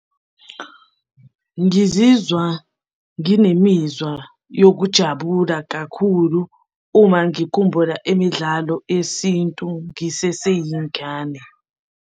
Ngizizwa nginemizwa yokujabula kakhulu uma ngikhumbula imidlalo yesintu ngiseseyingane.